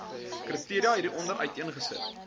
kriteria hieronder uiteengesit